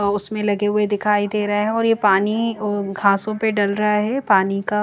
उसमें लगे हुए दिखाई दे रहे हैं और ये पानी घासों पे डल रहा है पानी का--